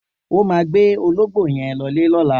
O má gbé ológbó yen lõlé lõlá